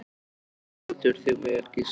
Þú stendur þig vel, Gísli!